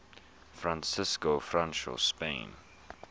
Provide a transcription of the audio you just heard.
francisco franco's spain